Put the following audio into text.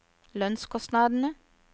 lønnskostnadene